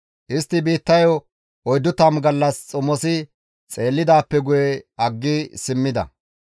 Istti biittayo oyddu tammu gallas xomosi xeellidaappe guye aggi simmida.